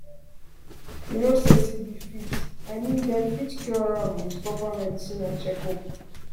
you know say tb fit i mean dem fit cure am with proper medicine and checkup